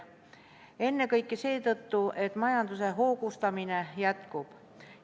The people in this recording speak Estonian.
Ennekõike seetõttu, et majanduse hoogustamine jätkub.